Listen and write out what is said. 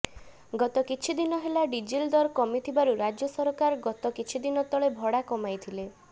ଗତ କିଛି ଦିନ ହେଲା ଡିଜେଲ ଦର କମିଥିବାରୁ ରାଜ୍ୟ ସରକାର ଗତ କିଛିଦିନ ତଳେ ଭଡ଼ା କମାଇଥିଲେ